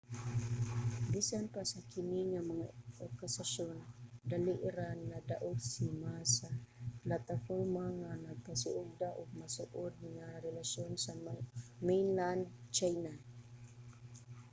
bisan pa sa kini nga mga akusasyon dali ra nadaog si ma sa plataporma nga nagpasiugda og mas suod nga relasyon sa mainland china